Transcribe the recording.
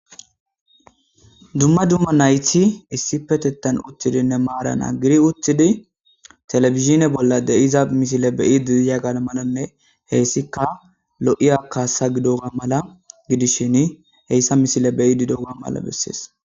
Duma duma nayti issipetetan utidinne mara nagari utidi televidhine bola de'za missile be'idi diyaga malane heysika lo'iya kasa gidoga mala gidishin hasaya missile be'idi diyaga mala beses.